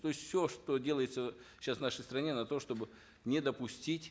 то есть все что делается сейчас в нашей стране на то чтобы не допустить